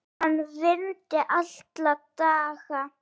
Hann vinni alla daga.